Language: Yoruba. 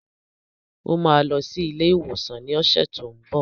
Ó máa lọ sí ilé-ìwòsàn ní ọ̀sẹ̀ tó n bọ̀.